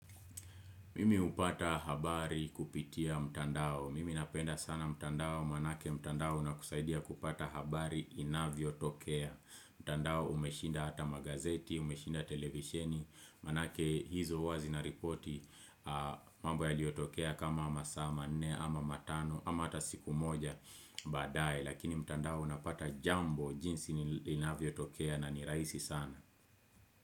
Mimi hupata habari kupitia mtandao, mimi napenda sana mtandao, manake mtandao unakusaidia kupata habari inavyo tokea. Mtandao umeshinda hata magazeti, umeshinda televisheni, manake hizo huwa zina ripoti mambo yaliotokea kama masaa manne ama matano ama hata siku moja baadae. Lakini, mtandao unapata jambo jinsi inavyo tokea na ni rahisi sana.